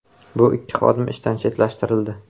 Bu ikki xodim ishdan chetlashtirildi.